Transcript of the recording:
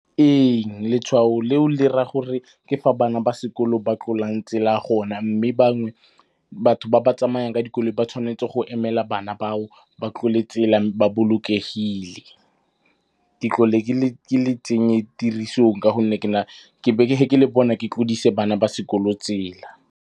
Ee, letshwao leo le raya gore ke fa bana ba sekolo ba tlolang tsela gona. Mme batho ba ba tsamayang ka dikoloi ba tshwanetse go emela bana ba o ba tlole tsela ba bolokegile. Ke tlhole ke le tsenye tirisong ka gonne ke le bona ke tlodise bana ba sekolo tsela.